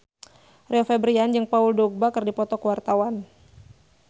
Rio Febrian jeung Paul Dogba keur dipoto ku wartawan